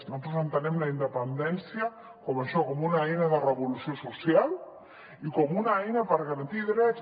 nosaltres entenem la independència com això com una eina de revolució social i com una eina per garantir drets